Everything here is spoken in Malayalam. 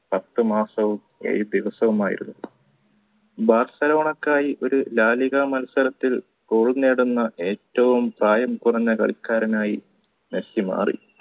പത്തുമാസവും ഏഴ് ദിവസമായിരുന്നു ബാർസലോണക്കായി ഒരു ലാലിഗ മത്സരത്തിൽ goal നേടുന്ന ഏറ്റവും പ്രായം കുറഞ്ഞ കളിക്കാരനായി മെസ്സി മാറി